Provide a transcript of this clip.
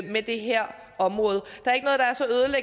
med det her område